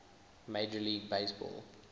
major league baseball